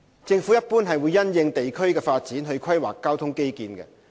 政府一般會因應地區的發展去規劃交通基建。